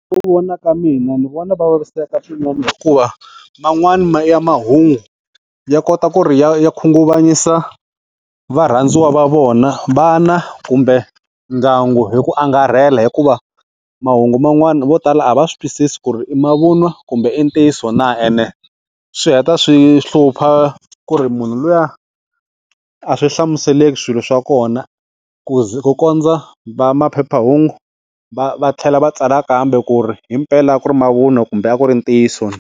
Vona ka mina ni vona va vaviseka swinene hikuva man'wani ya mahungu ya kota ku ri ya ya khunguvanyisa varhandziwa va vona, vana kumbe ndyangu hi ku angarhela hikuva mahungu man'wani vo tala a va swi twisisi ku ri i mavun'wa kumbe i ntiyiso na ene swi heta swi hlupha ku ri munhu luya a swi hlamuseleki swilo swa kona ku ku kondza va maphephahungu va va tlhela va tsala kambe ku ri hi mpela a ku ri mavunwa kumbe a ku ri ntiyiso.